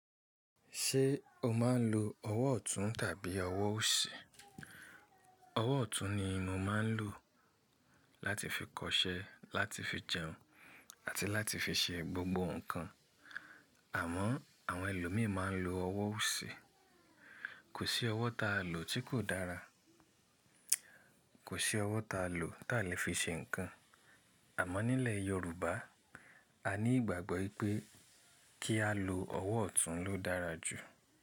Ṣé o máa ń lo ọwọ́ ọ̀tún tàbí ọwọ́ òsì? Ọwọ́ ọ̀tún ni mo máa ń lò láti fi kọṣẹ́, láti fi jẹun àti láti fi ṣe gbogbo nǹkan. Àmọ́ àwọn ẹlòmíràn máa ń lo ọwọ́ òsì. Kò sí ọwọ́ ta a lò tí kò dára. Kò sí ọwọ́ ta a lò táa lè fi ṣe nǹkan. Àmọ́ nílẹ̀ Yorùbá a ní ìgbàgbọ́ ípé kí á lo ọwọ́ ọ̀tún ló dára jù.